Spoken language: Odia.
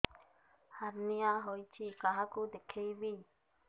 ହାର୍ନିଆ ହୋଇଛି କାହାକୁ ଦେଖେଇବି